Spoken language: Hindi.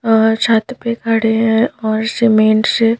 छत पे खड़े हैं और सीमेंट से--